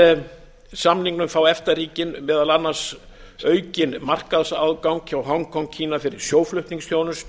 með samningnum fá efta ríkin meðal annars aukinn markaðsaðgang hjá hong kong kína fyrir sjóflutningsþjónustu fjármálaþjónustu